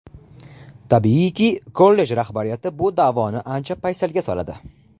Tabiiyki, kollej rahbariyati bu da’voni ancha paysalga soladi.